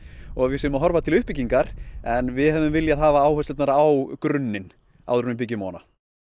og við séum að horfa til uppbyggingar en við hefðum viljað hafa áherslurnar á grunninn áður en við byggjum ofan á